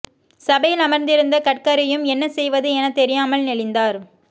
சபையில் அமர்ந்திருந்த கட்கரியும் என்ன செய்வது எனத் தெரியாமல் நெளிந்தார்